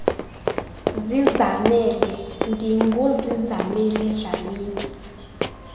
zizamele ndinguzizamele dlamini